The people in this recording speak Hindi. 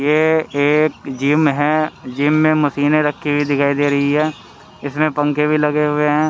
ये एक जिम है जिम में मशीनें रखी हुई दिखाई दे रही है इसमें पंखे भी लगे हुए ह--.